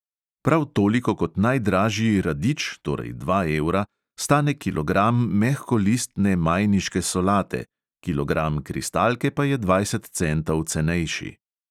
Prav toliko kot najdražji radič, torej dva evra, stane kilogram mehkolistne majniške solate, kilogram kristalke pa je dvajset centov cenejši.